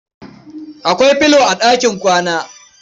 Akwai filo a ɗakin kwana.